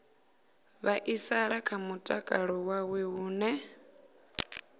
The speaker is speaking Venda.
vhaisala kha mutakalo wawe hune